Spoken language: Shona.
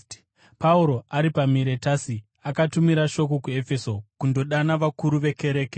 Pauro ari paMiretasi, akatumira shoko kuEfeso kundodana vakuru vekereke.